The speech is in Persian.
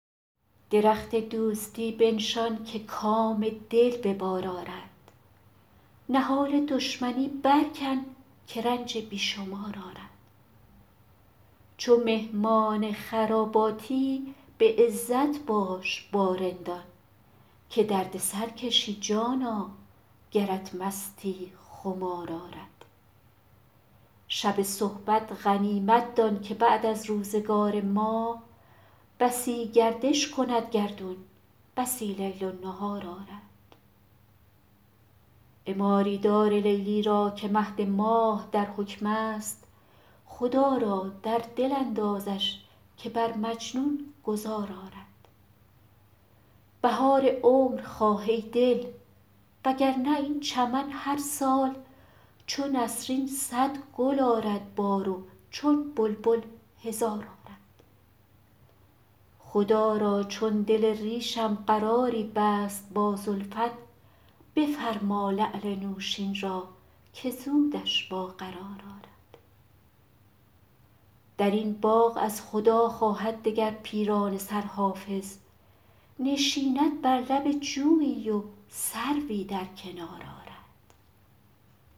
درخت دوستی بنشان که کام دل به بار آرد نهال دشمنی برکن که رنج بی شمار آرد چو مهمان خراباتی به عزت باش با رندان که درد سر کشی جانا گرت مستی خمار آرد شب صحبت غنیمت دان که بعد از روزگار ما بسی گردش کند گردون بسی لیل و نهار آرد عماری دار لیلی را که مهد ماه در حکم است خدا را در دل اندازش که بر مجنون گذار آرد بهار عمر خواه ای دل وگرنه این چمن هر سال چو نسرین صد گل آرد بار و چون بلبل هزار آرد خدا را چون دل ریشم قراری بست با زلفت بفرما لعل نوشین را که زودش با قرار آرد در این باغ از خدا خواهد دگر پیرانه سر حافظ نشیند بر لب جویی و سروی در کنار آرد